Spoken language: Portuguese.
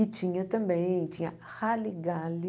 E tinha também, tinha Halle Galli.